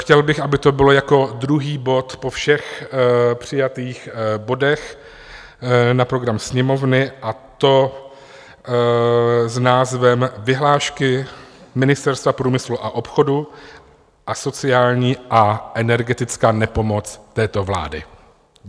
Chtěl bych, aby to bylo jako druhý bod po všech přijatých bodech na program Sněmovny, a to s názvem Vyhlášky Ministerstva průmyslu a obchodu a sociální a energetická nepomoc této vlády.